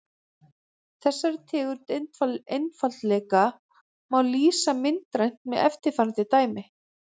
þessari tegund einfaldleika má lýsa myndrænt með eftirfarandi dæmi